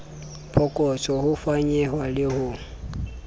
phokotso ho fanyehwa le ho